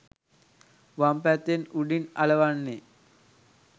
වම් පැත්තෙන් උඩින් අලවන්නෙ.